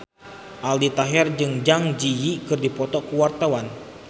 Aldi Taher jeung Zang Zi Yi keur dipoto ku wartawan